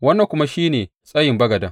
Wannan kuma shi ne tsayin bagaden.